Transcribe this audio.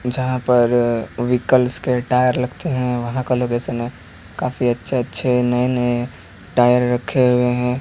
यहां पर व्हीकल्स के टायर लगते हैं वहां का लोकेशन है काफी अच्छे अच्छे नए नए टायर रखे हुए हैं।